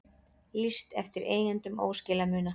Lýst eftir eigendum óskilamuna